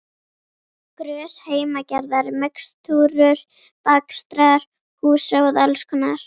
Grös, heimagerðar mixtúrur, bakstrar, húsráð alls konar.